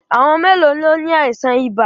À̀wọn mélòó ló ni àìsàn ibà?